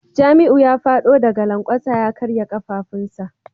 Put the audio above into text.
Jamiu ya fado daga lankwasa ya karya kafafunsa